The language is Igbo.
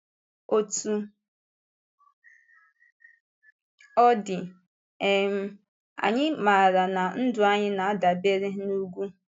Òtú ọ dị, um anyị maara na ndụ anyị na-adabere n’ugwu.